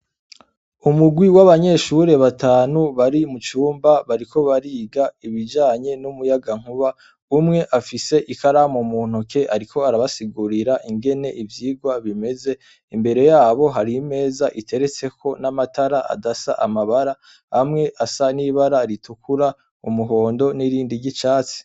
Umugwi w'abanyeshure batanu bari mu cumba, bariko bariga ibijanye n'umuyagankuba, umwe afise ikaramu mu ntoke ariko arabasigurira ingene ivyigwa bimeze. Imbere yabo hari imeza iteretseko n'amatara adasa amabara, amwe asa n'ibara ritukura, umuhondo n'irindi ry'icatsi.